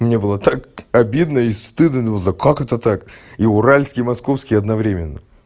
мне было так обидно и стыдно думал да как это так и уральский и московский одновременно